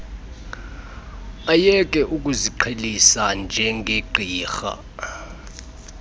ayeke ukuziqhelisa njengegqirha